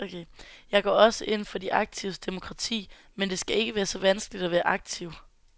Jeg går også ind for de aktives demokrati, men det skal ikke være så vanskeligt at være aktiv.